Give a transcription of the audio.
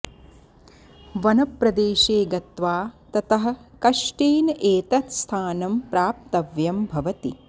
वनप्रदेशे गत्वा ततः कष्टेन एतत् स्थानं प्राप्तव्यं भवति